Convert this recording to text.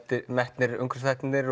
metnir umhverfisþættirnir